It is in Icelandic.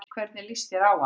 Hvernig lýst þér á hana?